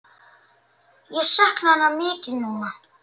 Ég sakna hennar mikið núna.